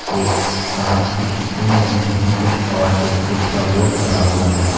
एक कांच की खिड़की लगी है कुछ और एक स्विच का बोर्ड लगा हुआ है।